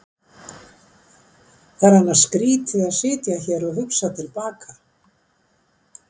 Það er annars skrýtið að sitja hér og hugsa til baka.